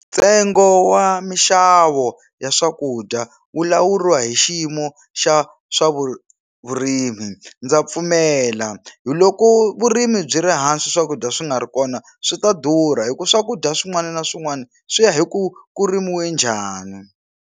Ntsengo wa mixavo ya swakudya wu lawuriwa hi xiyimo xa swa vurimi ndza pfumela hi loko vurimi byi ri hansi swakudya swi nga ri kona swi ta durha hi ku swakudya swin'wana na swin'wana swi ya hi ku ku rimiwe njhani.